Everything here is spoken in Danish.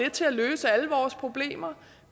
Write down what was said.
til at løse alle vores problemer